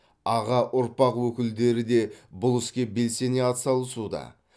аға ұрпақ өкілдері де бұл іске белсене атсалысуда